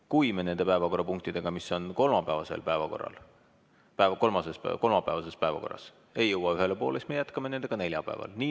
Kui me nende päevakorrapunktidega, mis on kolmapäevases päevakorras, ei jõua ühele poole, siis me jätkame nendega neljapäeval.